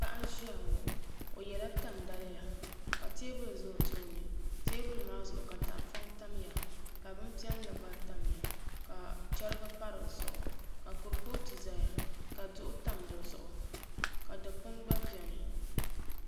Paɣa n ʒiya ŋo o yɛla tani daliya ka teebuli ʒɛ o tooni teebuli maa zuɣu ka tahapoŋ tamya ka bin piɛlli gba tamya ka chɛrigi pa dizuɣu ka kuripooti ʒɛya ka duɣu tam dizuɣu ka dikpuni gba bɛni